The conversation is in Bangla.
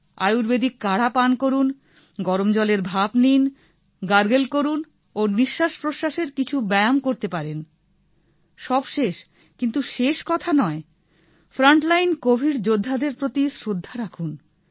আয়ূর্বেদিক কাড়া পান করুনগরম জলের ভাপ নিন গার্গল করুন ও নিশ্বাস প্রশ্বাসের কিছু ব্যায়াম করতে পারেন সবশেষ কিন্তু শেষ কথা নয় ফ্রন্টলাইন কোভিড যোদ্ধাদের প্রতি শ্রদ্ধা রাখুন